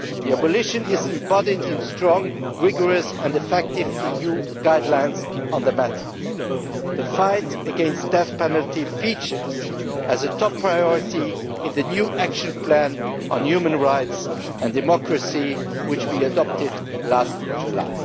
Abolition is embodied in strong, rigorous and effective EU guidelines on the matter. The fight against the death penalty features as a top priority in the new action plan on human rights and democracy which we adopted last July.